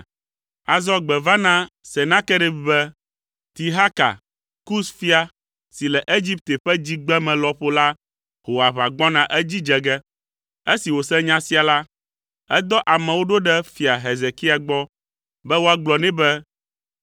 Azɔ gbe va na Senakerib be, Tirhaka, Kus fia, si le Egipte ƒe dzigbeme lɔƒo la ho aʋa gbɔna edzi dze ge. Esi wòse nya sia la, edɔ amewo ɖo ɖe fia Hezekia gbɔ be woagblɔ nɛ be,